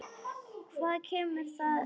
Hvað kemur það þér við?